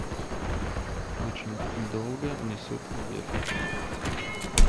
очень долго несут обед